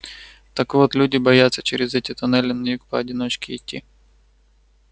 так вот люди боятся через эти туннели на юг поодиночке идти